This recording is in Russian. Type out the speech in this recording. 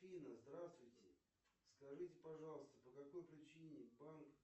афина здравствуйте скажите пожалуйста по какой причине банк